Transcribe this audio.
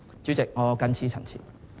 主席，我謹此陳辭。